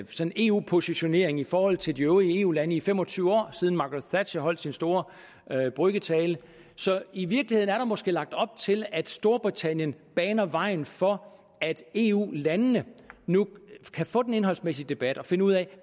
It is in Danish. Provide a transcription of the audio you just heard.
eu positionering i forhold til de øvrige eu lande i fem og tyve år siden margaret thatcher holdt sin store brüggetale så i virkeligheden er der måske lagt op til at storbritannien baner vejen for at eu landene nu kan få den indholdsmæssige debat og finde ud af